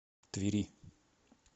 твери